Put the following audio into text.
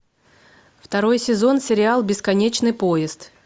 второй сезон сериал бесконечный поезд